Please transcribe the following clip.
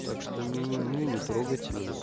так что не не не не трогайте меня